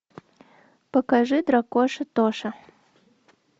покажи дракоша тоша